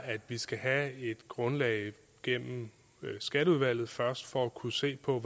at vi skal have et grundlag gennem skatteudvalget først for at kunne se på